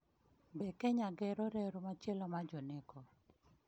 Be Kenya gero reru machielo mar ‘joneko’?